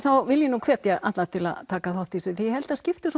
vil ég hvetja alla til að taka þátt í þessu því ég held það skipti svo